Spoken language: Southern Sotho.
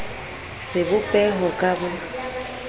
sebo peho ka b o